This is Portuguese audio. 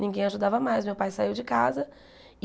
Ninguém ajudava mais, meu pai saiu de casa.